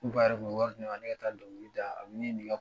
N fa yɛrɛ kun be wari di ne ma, ne ka taa dɔnkili da. a bi